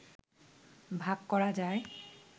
ভাগ করা যায়